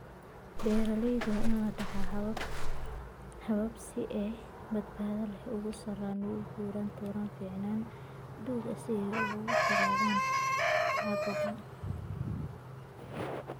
Beeraleydu waa inay lahaadaan habab ay si badbaado leh uga saaraan ugana tuuraan finan duug ah si ay uga fogaadaan caabuqa.